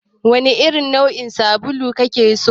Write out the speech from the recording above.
Wane irin nau'in sabulu kake so?